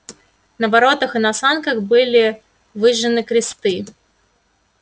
на воротах и на санках были выжжены кресты